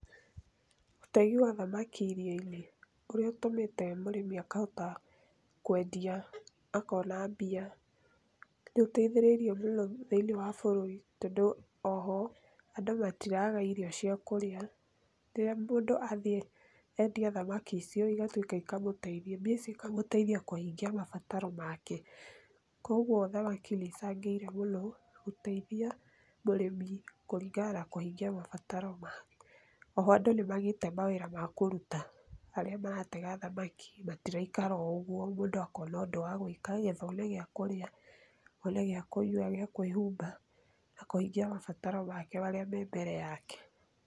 Ũtegi wa thamaki iria-inĩ ũrĩa ũtũmĩte mũrĩmi akahota kwendia, akona mbia nĩ ũteithĩrĩrie mũno thĩinĩ wa bũrũri tondũ o ho, andũ matiraaga irio cia kũrĩa, rĩrĩa mũndũ athiĩ etia thamaki icio igatuĩka ikamũteithia, mbia cikamũteithia kũhingia mabataro make. Kwoguo thamaki nĩ icangĩire mũno gũteithia mũrĩmi kũringana na kũhingia mabataro make. O ho andũ nĩ maagĩte mawĩra ma kũruta, arĩa maratega thamaki matiraikara o ũguo, mũndũ akona ũndũ wa gwĩka nĩ getha one gĩa kũrĩa, one gĩa kũnyua, gĩa kwĩhumba, akahingia mabataro make marĩa me mbere yake.